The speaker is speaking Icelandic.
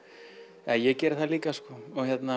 eða ég geri það líka sko og hérna